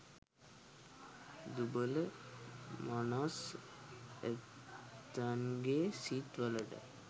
දුබල මනස් ඇත්තන්ගෙ සිත් වලට